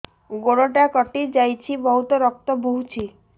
ଗୋଡ଼ଟା କଟି ଯାଇଛି ବହୁତ ରକ୍ତ ବହୁଛି